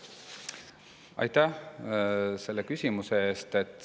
Aitäh selle küsimuse eest!